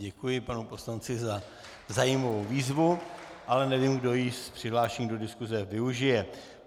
Děkuji panu poslanci za zajímavou výzvu, ale nevím, kdo jí z přihlášených do diskuse využije.